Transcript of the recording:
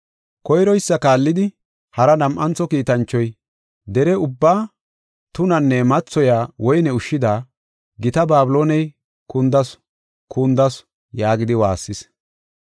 Koyroysa kaallidi hara nam7antho kiitanchoy, “Dere ubbaa tunanne mathoyiya woyne ushshida, gita Babilooney kundasu! Kundasu!” yaagidi waassis.